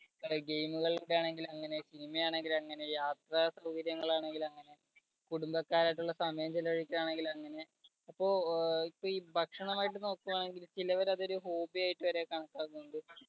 game കൾ ഒക്കെയാണെങ്കിൽ അങ്ങനെ ചെയ്യാം cinema യാണെങ്കിൽ അങ്ങനെ ചെയ്യാം യാത്ര സൗകര്യങ്ങൾ ആണെങ്കിൽ അങ്ങനെ കുടുംബക്കാരും ആയിട്ടുള്ള സമയം ചെലവഴിക്കൽ ആണെങ്കിൽ അങ്ങനെ ഇപ്പോ ഈ ഭക്ഷണം ആയിട്ട് നോക്കിയാണെങ്കിൽ ചിലവര അതൊരു hobby ആയിട്ട് വരെ കണക്കാക്കുന്നുണ്ട്.